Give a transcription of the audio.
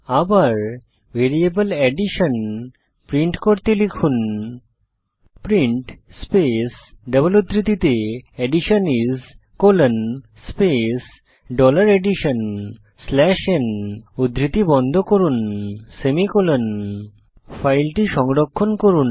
আবার variable addition print করতে লিখুন প্রিন্ট স্পেস ডবল উদ্ধৃতিতে addition is colon space dollar addition slash n উদ্ধৃতি বন্ধ করুন সেমিকোলন ফাইলটি সংরক্ষণ করুন